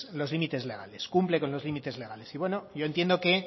los límites legales cumple con los límites legales y bueno yo entiendo que